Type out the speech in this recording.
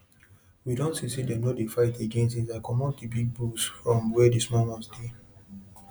when animal many dey inside one house um one house um e dey cause too much wahala for um body fight and bad body wahala.